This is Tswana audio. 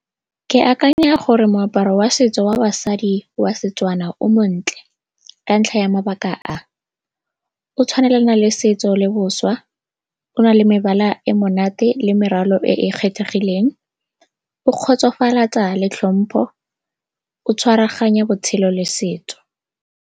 Ke akanya gore moaparo wa setso wa basadi wa Setswana o montle ka ntlha ya mabaka a, o tshwanelana le setso le boswa, o na le mebala e monate le meralo e e kgethegileng, o kgotsofatsa le tlhompho, o tshwaraganya botshelo le setso.